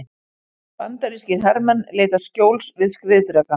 Bandarískir hermenn leita skjóls við skriðdreka.